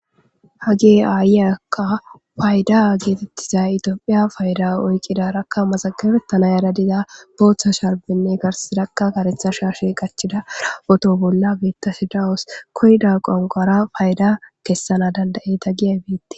hage aayeyakka fayda geetettizay itiophiya fayda oyqida rakka masagabettana yadadiza booththa sharbenne garsidakka karetha shashe qachida rapoto bolla beettasi dawos koyda qanqora fayda kessana dandayi daggiyay beette